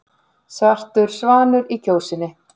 Svartur svanur í Kjósinni